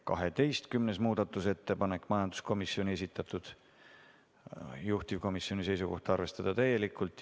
12. muudatusettepanek, majanduskomisjoni esitatud, juhtivkomisjoni seisukoht on arvestada täielikult.